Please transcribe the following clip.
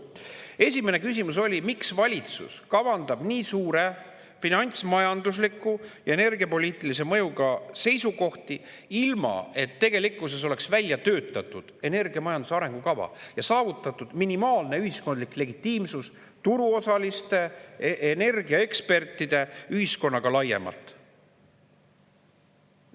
Esimene küsimus oli, miks valitsus kavandab nii suure finantsmajandusliku ja energiapoliitilise mõjuga seisukohti ilma, et tegelikkuses oleks välja töötatud energiamajanduse arengukava ja saavutatud minimaalne ühiskondlik legitiimsus turuosaliste ja energiaekspertide seas ning ühiskonnas laiemalt.